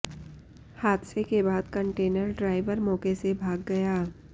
हादसे के बाद कंटेनर ड्राइवर मौके से भाग गया